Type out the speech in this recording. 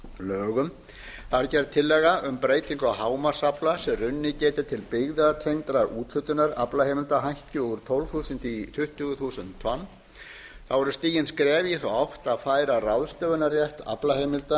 lögum þar er gerð tillaga um breytingu á hámarksafla sem runnið geti til byggðatengdrar úthlutunar aflaheimilda hækki úr tólf þúsund í tuttugu þúsund tonn þá eru stigin skref í þá átt að færa ráðstöfunarrétt aflaheimilda